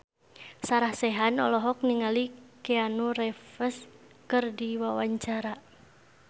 Sarah Sechan olohok ningali Keanu Reeves keur diwawancara